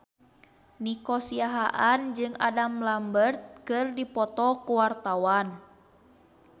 Nico Siahaan jeung Adam Lambert keur dipoto ku wartawan